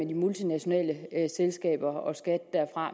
de multinationale selskaber